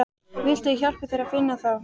Viltu að ég hjálpi þér að finna þá?